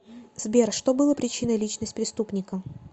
сбер что было причиной личность преступника